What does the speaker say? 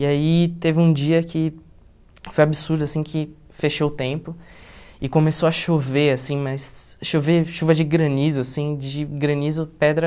E aí teve um dia que foi absurdo assim, que fechou o tempo e começou a chover assim, mas chover chuva de granizo assim, de granizo, pedra...